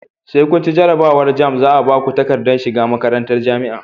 Sai kunci jarabawar jamb zaa Baku takaddar shiga makarantar jamia